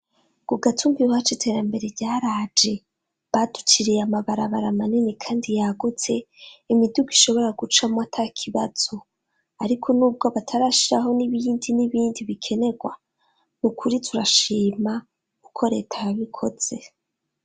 ku gatumba iwacu iterambere yaraje, baduciriye amabarabara manini kandi yagutse imiduga ishobora gucamwo atakibazo. Ariko nubwo batarashiraho n'ibindi n'ibindi bikenerwa, nukuri turashima uko leta yabikotse.